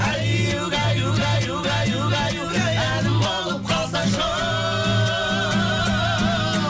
әй угай угай угай угай угай әнім бол қалсаңшы оу